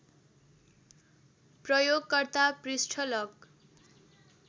प्रयोगकर्ता पृष्ठ लक